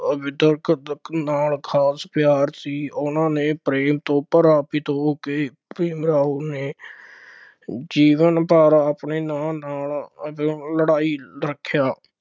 ਨਾਲ ਖਾਸ ਪਿਆਰ ਸੀ, ਉਹਨਾ ਦੇ ਪ੍ਰੇਮ ਤੋਂ ਪ੍ਰਭਾਵਿਤ ਹੋ ਕੇ ਭੀਮ ਰਾਓ ਨੇ ਜੀਵਨ ਭਰ ਆਪਣੇ ਨਾਲ ਨਾਲ ਲੜਾਈ ਰੱਖਿਆ।